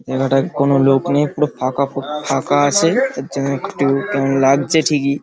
এলাকায় কোনো লোক নেই পুরো ফাকা ফুক ফাকা আছে এর জন্য একটু কেমন লাগছে ঠিকই।